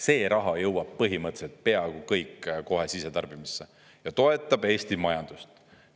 See raha jõuab põhimõtteliselt peaaegu kõik kohe sisetarbimisse ja toetab Eesti majandust.